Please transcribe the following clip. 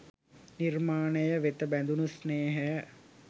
නිර්මාණය වෙත බැඳුණු ස්නේහය